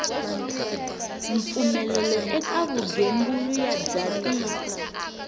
mpfumelelo eka vugembuli bya tiko